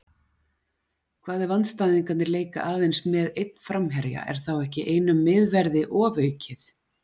Hvað ef andstæðingarnir leika aðeins með einn framherja, er þá ekki einum miðverði ofaukið?